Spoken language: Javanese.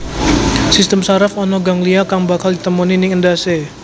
Sistem saraf ana ganglia kang bakal ditemoni ning endhasé